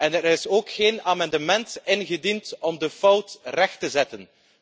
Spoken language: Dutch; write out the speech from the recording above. En er is ook geen amendement ingediend om de fout recht te zetten.